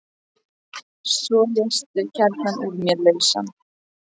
Svo léstu kjarnann úr mér lausan.